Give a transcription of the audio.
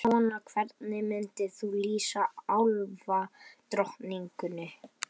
Hvað svona, hvernig myndir þú lýsa álfadrottningunni?